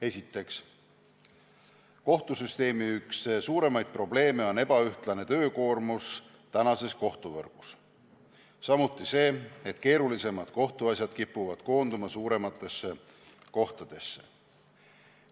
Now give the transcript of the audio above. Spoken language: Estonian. Esiteks, kohtusüsteemi suurimaid probleeme on ebaühtlane töökoormus, samuti see, et keerulisemad kohtuasjad kipuvad koonduma suurematesse kohtadesse.